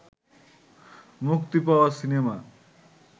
মুক্তি পাওয়া সিনেমা